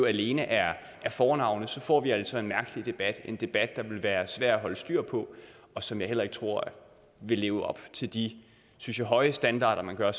alene er fornavnet så får vi altså en mærkelig debat en debat der vil være svær at holde styr på og som jeg heller ikke tror vil leve op til de synes jeg høje standarder man har